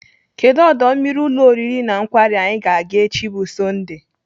Kedụ ọdọ mmiri ụlọ oriri na nkwari anyị ga-aga echi bụ Sọndee?